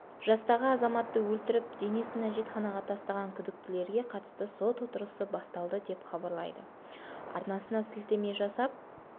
жастағы азаматты өлтіріп денесін әжетханаға тастаған күдіктілерге қатысты сот отырысы басталды деп хабарлайды арнасына сілтеме жасап